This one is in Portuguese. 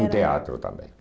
No teatro também.